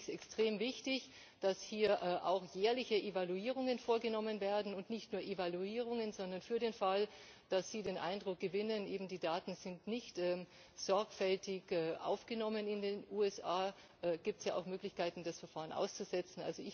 Deshalb finde ich es extrem wichtig, dass hier auch jährliche Evaluierungen vorgenommen werden, aber nicht nur Evaluierungen Für den Fall, dass Sie den Eindruck gewinnen, dass die Daten in den USA nicht sorgfältig aufgenommen sind, gibt es ja auch Möglichkeiten, das Verfahren auszusetzen.